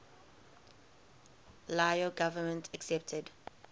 lao government accepted